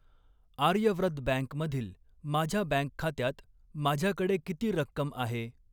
Aryavrat bank मधील माझ्या bank खात्यात माझ्याकडे किती रक्कम आहे?